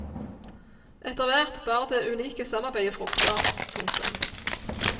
Etterhvert bar det unike samarbeidet frukter. punktum